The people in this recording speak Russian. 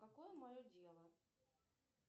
какое мое дело